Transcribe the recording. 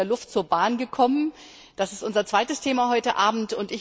Sie sind jetzt von der Luft zur Bahn gekommen, das ist unser zweites Thema heute Abend.